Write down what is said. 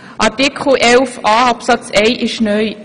Artikel 11a Absatz 1 ist neu.